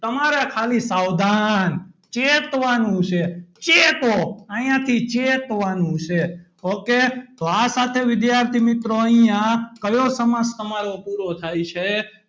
તમારે ખાલી સાવધાન ચેતવાનું છે ચેતો અહીંયાથી ચેતવાનું છે ok તો આ સાથે વિદ્યાર્થી મિત્રો અહીંયા કયો સમાસ તમારો પૂરો થાય છે.